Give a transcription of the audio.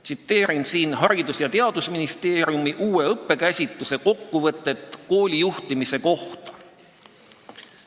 Tsiteerin siin Haridus- ja Teadusministeeriumi uue õpikäsituse kokkuvõtet koolijuhtimisest.